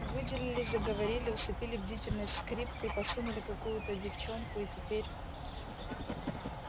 выделили заговорили усыпили бдительность скрипкой подсунули какую то девчонку и теперь